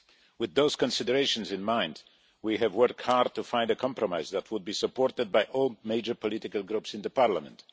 With those considerations in mind, we have worked hard to find a compromise that would be supported by all major political groups in Parliament.